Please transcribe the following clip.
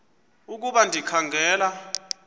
ukuba ndikha ngela